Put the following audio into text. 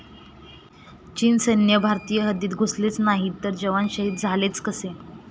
चीन सैन्य भारतीय हद्दीत घुसलेच नाही तर जवान शहीद झालेच कसे?